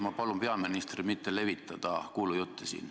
Ma palun peaministril mitte levitada siin kuulujutte.